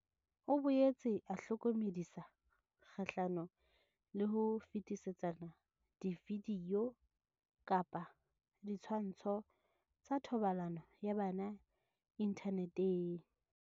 O boetse a hlokomedisa kgahlano le ho fetisetsana dividio kapa ditshwantsho tsa thobalano ya bana inthaneteng.